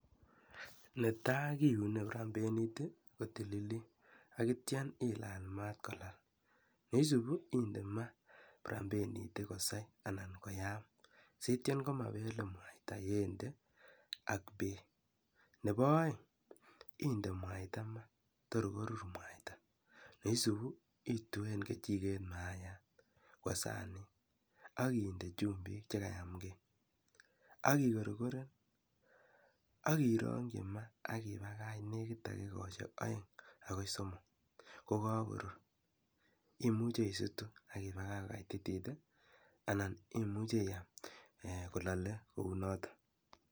Netai kiuni prambenet ko tililit akityo ilaal maat kolaal, ne isuupi inde maat prambenit kosai anan koyam sityo komabel mwaita yendee ak beek. Nebo aeng indee mwaita mwaa tor koruur mwaita, ne isuupi ituen kijiket mayaat kwo sanit akinde chumbik chekayamkei akikorkoren aki irongchi maa aki pakach nekit dakikoshek aeng akoi somok kokakoruur, imuche isutu akipakach kokaititit anan imuche iaam kolaale kounotok.